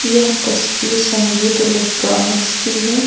यह तस्वीर संगीत इलेक्ट्रॉनिक्स की है।